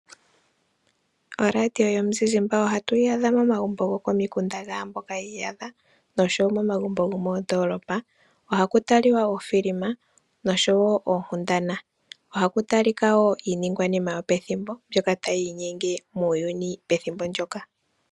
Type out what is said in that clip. ORadio yomuzizimba ohatu yi adha momagumbo gokomikunda dhaamboka yi iyadha oshowo momagumbo gomoondoolopa. Ohaku taliwa uufilima nosho wo oonkundana. Ohaku talika iiningwanina yopethimbo mbyoka tayi inyenge muuyuni pethimbo ndoka.